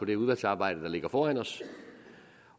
det udvalgsarbejde der ligger foran os